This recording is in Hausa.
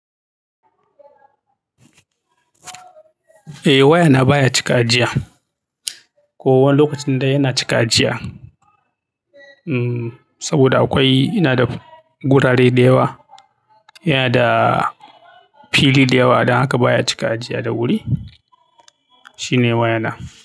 Eh waya na baya cika a jiya, ko wani lokacin dai yana cika jiya. Saboda akwai, ina da gurare da yawa, yana da fili da yawa adon haka baya cika jiya da wuri. Shine waya na.